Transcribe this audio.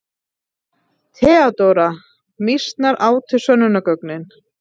THEODÓRA: Mýsnar átu sönnunargögnin.